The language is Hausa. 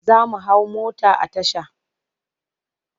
Za mu hau mota a tasha.